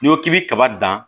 N'i ko k'i bɛ kaba dan